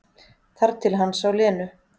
Þar til hann sá Lenu.